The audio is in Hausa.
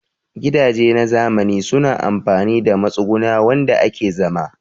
Gidaje na zamani suna amfani da matsuguna wanda ake zama